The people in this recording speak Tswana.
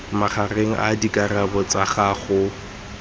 magareng a dikarabo tsa gago